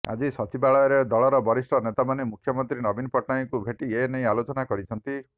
ଆଜି ସଚିବାଳୟରେ ଦଳର ବରିଷ୍ଠ ନେତାମାନେ ମୁଖ୍ୟମନ୍ତ୍ରୀ ନବୀନ ପଟ୍ଟନାୟକଙ୍କୁ ଭେଟି ଏନେଇ ଆଲୋଚନା କରିଛନ୍ତି